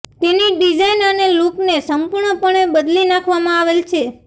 તેની ડિઝાઈન અને લુકને સંપૂર્ણ પણે બદલી નાખવામાં આવેલ છે